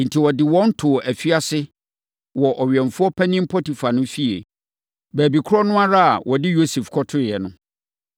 Enti, ɔde wɔn too afiase wɔ ɔwɛmfoɔ panin Potifar no fie, baabi korɔ no ara a wɔde Yosef kɔtoeɛ hɔ.